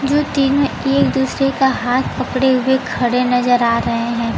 जो टिम में एक दूसरे का हाथ पकड़े हुए खड़े नजर आ रहे हैं।